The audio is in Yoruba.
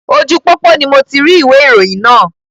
Ojú pópó ni moti rí ìwé ìròyìn náà